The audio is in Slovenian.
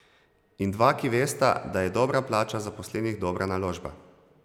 In dva, ki vesta, da je dobra plača zaposlenih dobra naložba.